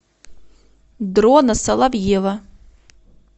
дрона соловьева